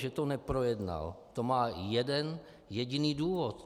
Že to neprojednal, to má jeden jediný důvod.